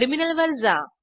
टर्मिनलवर जा